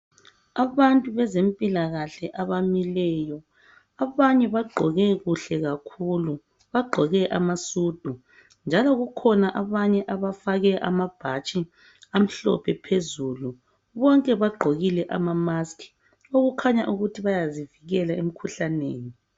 Abantu bezempilakahle abamileyo, abanye bagqoke kuhle kakhulu. Bagqoke amasudu, njalo kukhona abanye abafake ama bhatshi amhlophe phezulu. Bonke bagqokile ama-mask, okukhanya ukuthi bayazivikela emkhuhlaneni.